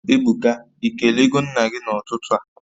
Ebuka, Ị kelego nna gị n'ụtụtụ a?